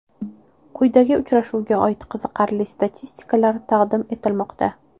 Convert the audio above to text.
Quyida uchrashuvga oid qiziqarli statistikalar taqdim etilmoqda .